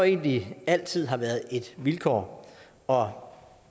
egentlig altid har været et vilkår og